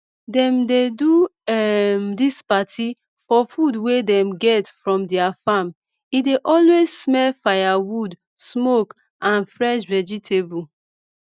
dem dey do um dis party for food wey dem get from their farm e dey always smell firewood smoke and fresh vegetable